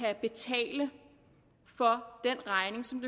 at betale den regning som